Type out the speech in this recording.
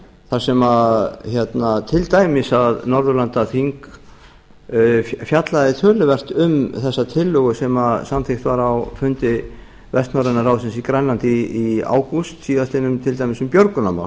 þar sem til dæmis að norðurlandaþing fjallaði töluvert um þessa tillögu sem samþykkt var á fundi vestnorrænna ráðsins í grænlandi í ágúst síðastliðnum til dæmis um björgunarmál